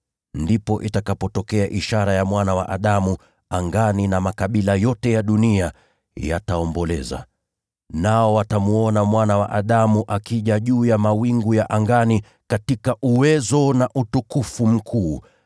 “Ndipo itakapotokea ishara ya Mwana wa Adamu angani, na makabila yote ya dunia yataomboleza. Nao watamwona Mwana wa Adamu akija juu ya mawingu ya angani, katika uwezo na utukufu mkuu.